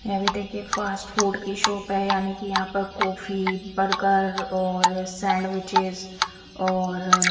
यह भी देखिए फास्ट फूड की शॉप है यानी कि यहाँ पर कॉफी बर्गर और सैंडविचेस और--